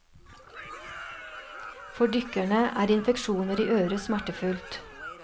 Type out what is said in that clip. For dykkerne er infeksjoner i øret smertefullt.